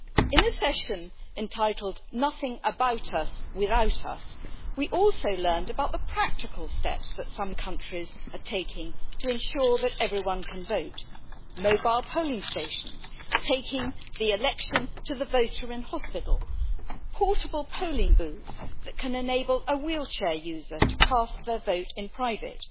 In this session entitled Nothing about us without us', we also learned about the practical steps that some countries are taking to ensure that everyone can vote mobile polling stations, taking the election to the voter in hospital, portable polling booths that can enable a wheelchair user to cast their vote in private.